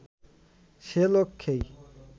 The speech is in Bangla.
সে লক্ষ্যেই